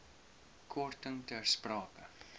korting ter sprake